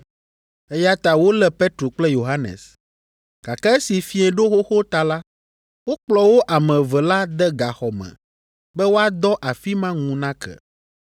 Eya ta wolé Petro kple Yohanes, gake esi fiẽ ɖo xoxo ta la, wokplɔ wo ame eve la de gaxɔ me be woadɔ afi ma ŋu nake.